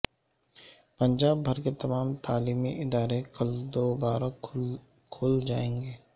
پنجاب بھر کے تمام تعلیمی ادارے کل دوبارہ کھل جائیں گے